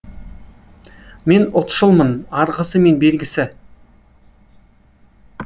мен ұлтшылмын арғысы мен бергісі